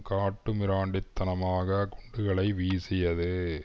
காட்டு மிராண்டித்தனமாகக் குண்டுகளை வீசியது